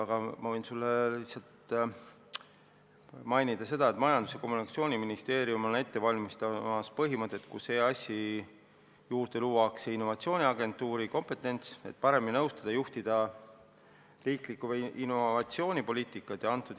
Aga ma võin sulle mainida lihtsalt seda, et Majandus- ja Kommunikatsiooniministeerium valmistab ette seda, et EAS-i juurde luuakse innovatsiooniagentuuri kompetents, selleks et paremini nõustada ja juhtida riiklikku innovatsioonipoliitikat.